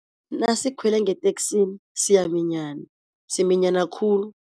Nasikhwele ngeteksini siyaminyana, siminyana khulu.